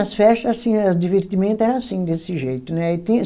As festas, assim, o divertimento era assim, desse jeito, né? Aí tinha